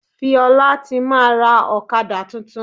Fiola ti máa rà Ọ̀kadà tuntun.